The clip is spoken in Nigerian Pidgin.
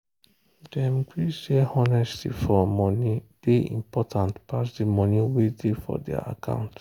dem gree say honesty for money day important pass the money way day for their account.